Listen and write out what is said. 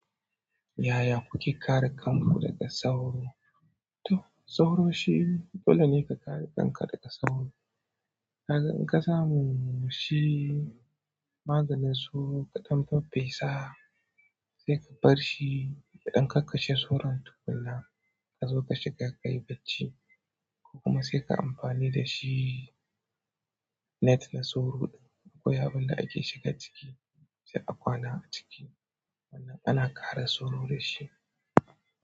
Yaya kuke kare kanku daga sauro? Sauro shi dole ne ka kare kanka daga sauro. In ka samu shi maganin sauro ka ɗan faffesa sai ka bar shi. Idan ka kashe sauron tukuna ka zo ka shiga kai bacci. Kuma saikai amfani dashi net na sauro. Akwai abin da ake shiga ciki sai a kwana a ciki. Ana kare sauro da shi.